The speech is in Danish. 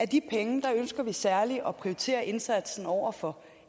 de penge ønsker vi særlig at prioritere indsatsen over for